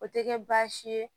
O tɛ kɛ baasi ye